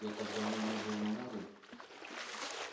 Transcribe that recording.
я так давно не был на море